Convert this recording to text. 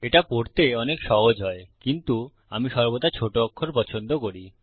এটা পড়তে অনেক সহজ হয় কিন্তু আমি সর্বদা ছোট অক্ষর পছন্দ করি